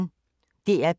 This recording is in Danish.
DR P1